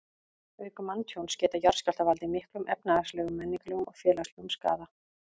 Auk manntjóns geta jarðskjálftar valdið miklum efnahagslegum, menningarlegum og félagslegum skaða.